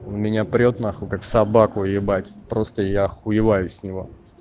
он меня прёт нахуй как собаку ебать просто я охуеваю с него